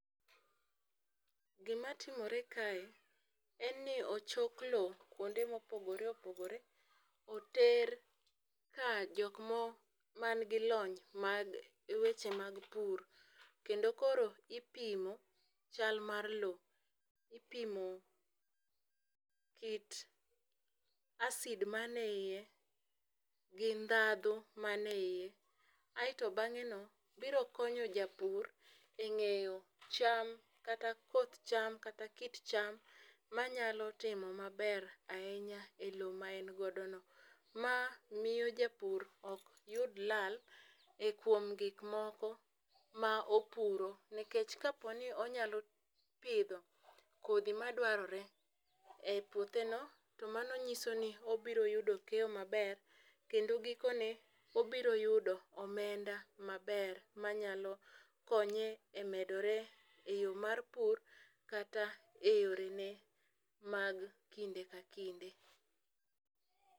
Gima timore kae en ni ochok lowo kuonde ma opogore opogore, oter ka jok mo, ma nigi lony mag weche mag pur. Kendo koro ipimo chal mar lowo. Ipimo kit acid ma nie iye, gi ndhadhu manie ie. Aeto bangéno, biro konyo japur e ngéyo cham, kata koth cham, kata kit cham manyalo timo maber ahinya e lowo ma en go no. Ma miyo japur ok yud lal, e kuom gik moko ma opuro. Nikech ka po ni inyalo pidho kodhi ma dwarore e puotheno to mano nyiso ni obiro yudo keyo maber, kendo gikone, obiro yudo omenda maber, manyalo konye e medore e yo mar pur kata e yorene mag kinde ka kinde.